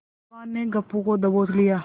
पहलवान ने गप्पू को दबोच लिया